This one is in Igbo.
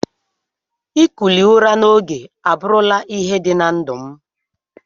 Ikuli ụra na ogo aburu la ihe di na ndu.